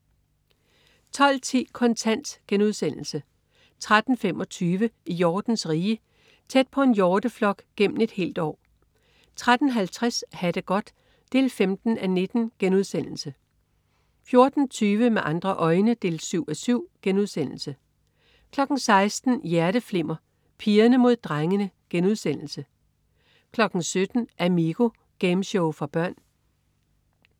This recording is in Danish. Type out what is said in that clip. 12.10 Kontant* 13.25 I hjortens rige. Tæt på en hjorteflok gennem et helt år 13.50 Ha' det godt 15:19* 14.20 Med andre øjne 7:7* 16.00 Hjerteflimmer: Pigerne mod drengene* 17.00 Amigo. Gameshow for børn